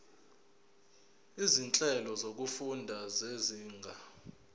izinhlelo zokufunda zezinga